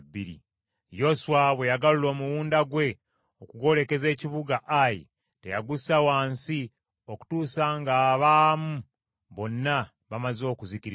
Yoswa bwe yagalula omuwunda gwe okugwolekeza ekibuga Ayi teyagussa wansi okutuusa ng’abaamu bonna bamaze okuzikirizibwa.